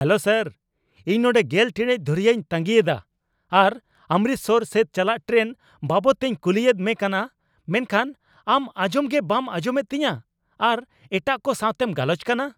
Hello sir ! ᱤᱧ ᱱᱚᱰᱮ ᱑᱐ ᱴᱤᱲᱤᱡ ᱫᱷᱩᱨᱤᱭᱟᱹᱧ ᱛᱟᱸᱜᱤ ᱮᱫᱟ ᱟᱨ ᱚᱢᱨᱤᱥᱴᱟᱨ ᱥᱮᱫ ᱪᱟᱞᱟᱜ ᱴᱨᱮᱱ ᱵᱟᱵᱚᱫ ᱛᱮᱧ ᱠᱩᱞᱤᱭᱮᱫ ᱢᱮ ᱠᱟᱱᱟ ᱢᱮᱱᱠᱷᱟᱱ ᱟᱢ ᱟᱸᱡᱚᱢᱜᱮ ᱵᱟᱢ ᱟᱸᱡᱚᱢᱮᱫ ᱛᱤᱧᱟ ᱟᱨ ᱮᱴᱟᱜ ᱠᱚ ᱥᱟᱣᱛᱮᱢ ᱜᱟᱞᱚᱪ ᱠᱟᱱᱟ ᱾